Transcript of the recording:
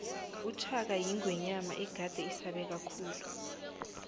ushaka yingwenyama egade isabeka khulu